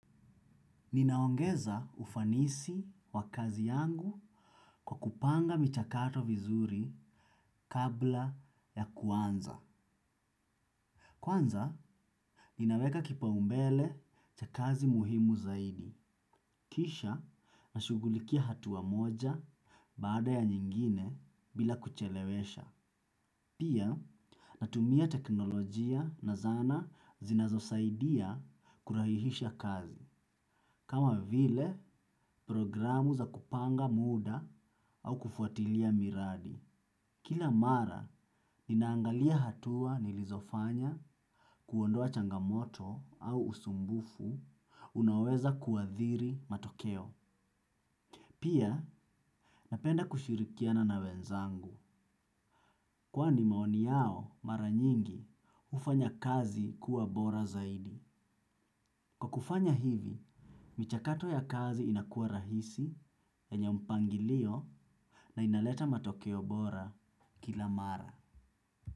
Ninaongeza ufanisi wa kazi yangu kwa kupanga michakato vizuri kabla ya kuanza. Kwanza, ninaweka kipaumbele cha kazi muhimu zaidi. Kisha, nashughulikia hatua moja baada ya nyingine bila kuchelewesha. Pia, natumia teknolojia na zana zinazosaidia kurahihisha kazi. Kama vile, programu za kupanga muda au kufuatilia miradi. Kila mara, ninaangalia hatua nilizofanya kuondoa changamoto au usumbufu unaoweza kuadhiri matokeo. Pia, napenda kushirikiana na wenzangu. Kwani maoni yao mara nyingi hufanya kazi kuwa bora zaidi. Kwa kufanya hivi, michakato ya kazi inakua rahisi yenye mpangilio na inaleta matokeo bora kila mara.